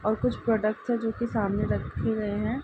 और कुछ प्रोडक्टस है जोकि सामने रखे गए हैं।